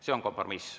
See on kompromiss.